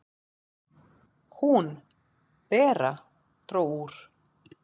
"""Hún, Bera, dró úr."""